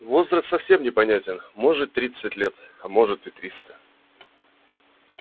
возраст совсем непонятен может тридцать лет а может и триста